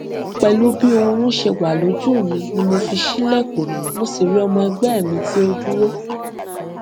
pẹlú bí oorun ṣe wà lójú mi ni mo fi ṣílẹkùn mo sì rí ọmọ ẹgbẹ mi tí ó dúró